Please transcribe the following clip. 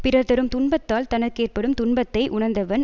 பிறர் தரும் துன்பத்தால் தனக்கேற்படும் துன்பத்தை உணர்ந்தவன்